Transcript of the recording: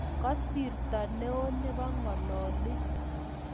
Kasirto neoo nebo ngololik